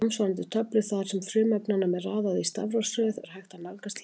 Samsvarandi töflu þar sem frumefnunum er raðað í stafrófsröð er hægt að nálgast hér.